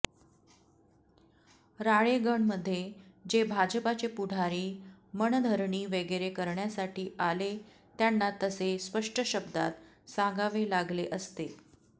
राळेगणमध्ये जे भाजपाचे पुढारी मनधरणी वगैरे करण्यासाठी आले त्यांना तसे स्पष्ट शब्दांत सांगावे लागले असते